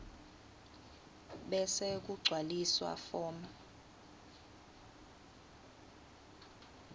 bese kugcwaliswa form